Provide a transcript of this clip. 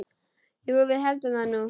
Jú, við héldum það nú.